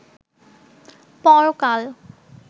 পরকাল